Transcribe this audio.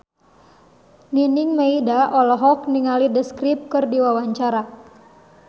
Nining Meida olohok ningali The Script keur diwawancara